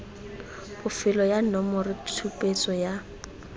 bofelo ya nomoro tshupetso ya